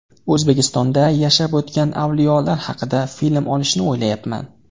O‘zbekistonda yashab o‘tgan avliyolar haqida film olishni o‘ylayapman.